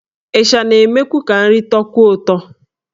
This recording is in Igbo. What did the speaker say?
Ịsha na-emekwu ka nri tọọkwuo ụtọ.